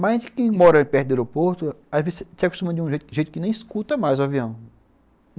Mas quem mora perto do aeroporto, às vezes se acostuma de um jeito que nem escuta mais o avião.